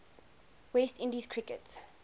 west indies cricket